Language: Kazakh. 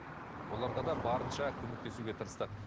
оларға да барынша көмектесуге тырыстық